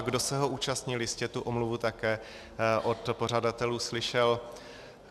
A kdo se ho účastnil, jistě tu omluvu také od pořadatelů slyšel.